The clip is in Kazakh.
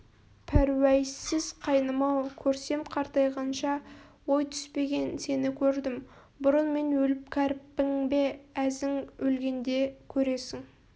пәруәйсіз қайным-ау көрсем қартайғанша ой түспеген сені көрдім бұрын мен өліп кәріппің бе әзің өлгенде көресің